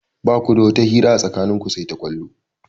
Ba ku da wata hira a tsakanin ku sai ta ƙwallo.